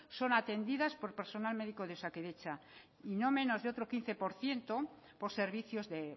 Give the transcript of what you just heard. son atendidas por personal médico de osakidetza y no menos de otro quince por ciento por servicios de